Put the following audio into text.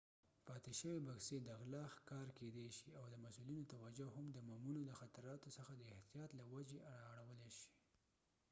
پاتې شوي بکسې د غلا ښکار کیدای شي او د مسؤلینو توجه هم د بمونو د خطراتو څخه د احتیاط له وجې را اړولې شي